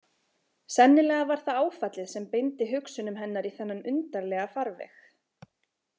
Sennilega var það áfallið sem beindi hugsunum hennar í þennan undarlega farveg.